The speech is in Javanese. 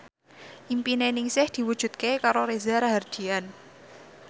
impine Ningsih diwujudke karo Reza Rahardian